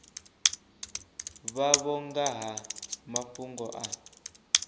vhavho nga ha mafhungo a